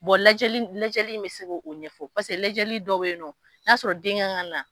lajɛli, lajɛli bɛ se o ɲɛfɔ paseke lajɛli dɔw bɛ yen nɔ, no y'a sɔrɔ den kan ka na.